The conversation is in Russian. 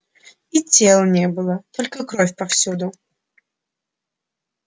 и тел не было только кровь повсюду